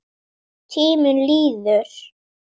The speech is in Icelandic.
Tíminn líður.